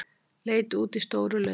Leit út í stóru laugina.